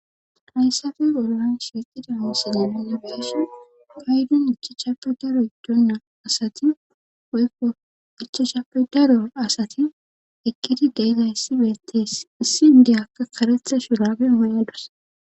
Hayssappe bollan shiiqida misilen nuuni b'shin paydon ichachappe daro giddonna asati woykko ichashappe daro asati eqidi de'izayssi beetes. Issi inddiyakka karetha shuraabe mayadus.